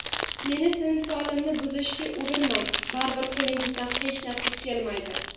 Meni timsolimni buzishga urinmang baribir qo‘lingizdan hech narsa kelmaydi.